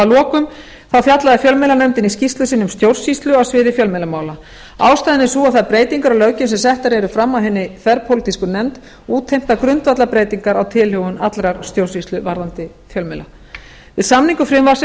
að lokum fjallaði fjölmiðlanefndin í skýrslu sinni um stjórnsýslu á sviði fjölmiðlamála ástæðan er sú að þær breytingar á löggjöfinni sem settar eru fram af hinni þverpólitísku nefnd útheimta grundvallarbreytingar á tilhögun allrar stjórnsýslu varðandi fjölmiðla við samningu frumvarpsins